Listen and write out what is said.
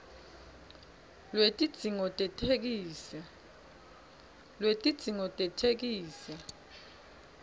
lwetidzingo tetheksthi